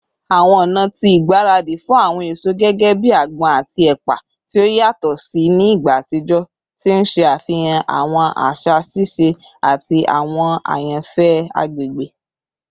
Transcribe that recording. Awọn ọna ti igbaradi fun awọn eso gẹgẹbi agbon ati epa ti o yatọ si ni igba atijọ, ti n ṣe afihan awọn aṣa sise ati awọn ayanfẹ agbegbe.